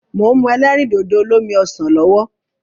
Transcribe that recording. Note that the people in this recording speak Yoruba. Mò ń mu ẹlẹ́rìndòdò olómi ọsàn lọ́wọ́.